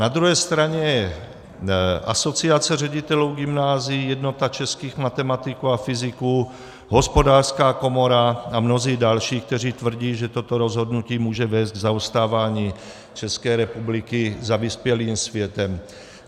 Na druhé straně je Asociace ředitelů gymnázií, Jednota českých matematiků a fyziků, Hospodářská komora a mnozí další, kteří tvrdí, že toto rozhodnutí může vést k zaostávání České republiky za vyspělým světem.